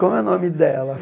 Como é o nome dela?